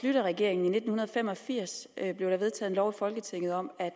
schlüterregeringen i nitten fem og firs blev der vedtaget en lov i folketinget om at